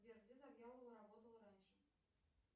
сбер где завьялова работала раньше